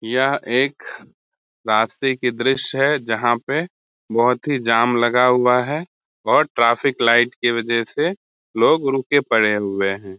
यह एक रास्ते की दृश्य है जहाँ पे बहुत ही जाम लगा हुआ है और ट्रैफिक लाइट की वजह से लोग रुके पड़े हुए हैं।